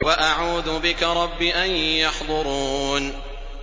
وَأَعُوذُ بِكَ رَبِّ أَن يَحْضُرُونِ